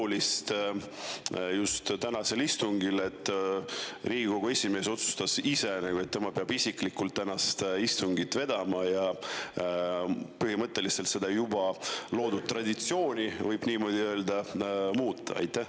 Mis on siis tänasel istungil nii olulist, et Riigikogu esimees otsustas, et tema peab isiklikult istungit vedama ja seda juba loodud traditsiooni, kui võib niimoodi öelda, muutma?